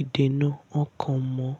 ìdènù ọkọ̀ mọ́